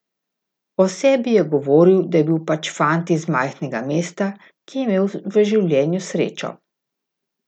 O sebi je govoril, da je bil pač fant iz majhnega mesta, ki je imel v življenju srečo.